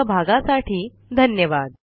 सहभागासाठी धन्यवाद